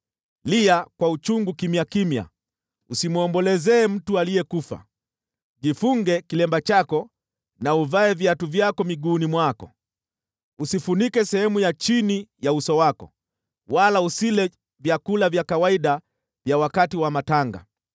Lia kwa uchungu kimya kimya usimwombolezee mtu aliyekufa. Jifunge kilemba chako na uvae viatu vyako miguuni mwako, usifunike sehemu ya chini ya uso wako, wala usile vyakula vya kawaida vya wakati wa matanga.”